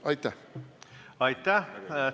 Aitäh!